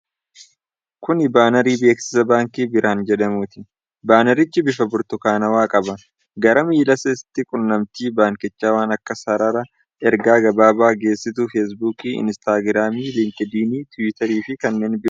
Kun baanarii beeksiisa baankii Birihaan jedhamuuti. Baanarichi bifa burtukaanawaa qaba. gara miila isaatti qunnamtii baankichaa waan akka sarara ergaa gabaabaa, geessituu Feesbuukii, Inistaagiraamii, Liinkidinii, Tiwutarii fi kanneen biroo of irraa qaba.